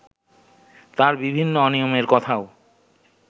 তার বিভিন্ন অনিয়মের কথাও